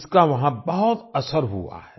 इसका वहाँ बहुत असर हुआ है